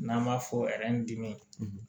N'an b'a fɔ dimin